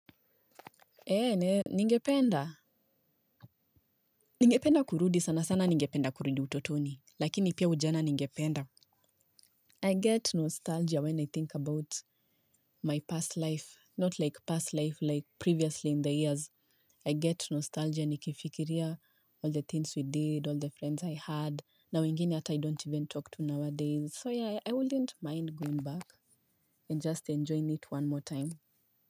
Eee, ningependa. Ningependa kurudi sana sana ningependa kurudi utotoni. Lakini pia ujana ningependa. I get nostalgia when I think about my past life. Not like past life like previously in the years. I get nostalgia nikifikiria all the things we did, all the friends I had. Na wengine hata I don't even talk to nowadays. So yeah, I wouldn't mind going back and just enjoying it one more time.